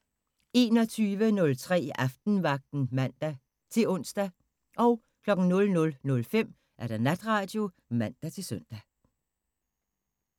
21:03: Aftenvagten (man-ons) 00:05: Natradio (man-søn)